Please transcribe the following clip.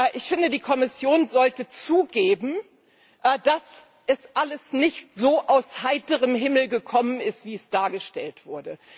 Ich finde, die Kommission sollte zugeben, dass das alles nicht so aus heiterem Himmel gekommen ist, wie es dargestellt wird.